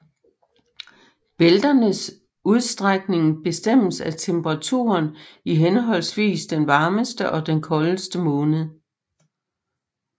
Bælternes udstrækning bestemmes af temperaturen i henholdsvis den varmeste og den koldeste måned